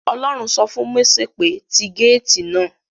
Ọlọ́run sọ fún Mósè pé; ti gáàtì náà